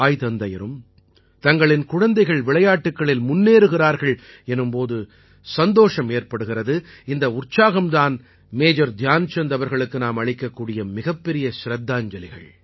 தங்களின் குழந்தைகள் விளையாட்டுக்களில் முன்னேறுகிறார்கள் எனும் போது தாய் தந்தையருக்கும் சந்தோஷம் ஏற்படுகிறது இந்த உற்சாகம் தான் மேஜர் தியான்சந்த் அவர்களுக்கு நாம் அளிக்கக் கூடிய மிகப் பெரிய சிரத்தாஞ்சலிகள்